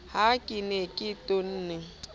ha ke ne ke tonne